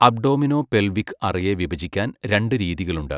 Abdominopelvic അറയെ വിഭജിക്കാൻ രണ്ട് രീതികളുണ്ട്.